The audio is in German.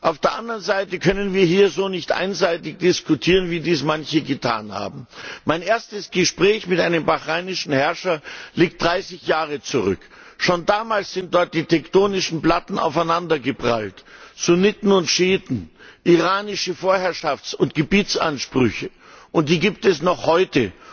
Auf der anderen Seite können wir hier nicht so einseitig diskutieren, wie dies manche getan haben. Mein erstes Gespräch mit einem bahrainischen Herrscher liegt 30 Jahre zurück. Schon damals sind dort die tektonischen Platten aufeinander geprallt Sunniten und Schiiten, iranische Vorherrschafts und Gebietsansprüche und die gibt es noch heute.